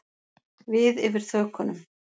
Við yfir þökunum.